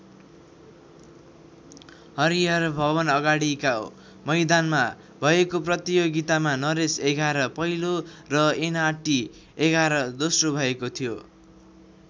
हरिहर भवनअगाडिको मैदानमा भएको प्रतियोगितामा नरेश एघार पहिलो र एनआरटी एघार दोस्रो भएको थियो।